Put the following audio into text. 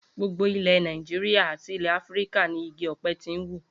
Gbogbo ilè̩ Nàìjíríà àti ilè̩ Áfíríkà ni igi ò̩pe̩ ti ń wù